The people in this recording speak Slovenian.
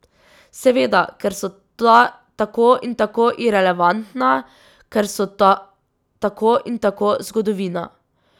Seveda, ker so ta tako in tako irelevantna, ker so ta tako in tako zgodovina.